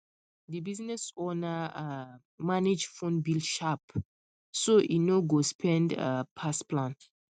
the business owner um manage phone bill sharp so e no go spend um pass plan